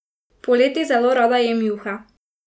Poleti zelo rada jem juhe.